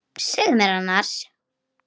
Segðu mér annars.